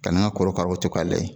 Ka na n ka korokaraw to k'a layɛ